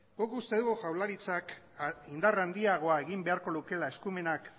guk uste dugu jaurlaritzak indar handiago egin beharko lukeela eskumenak